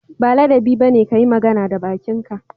Ba ladabi ba ne ka yi magana da bakinka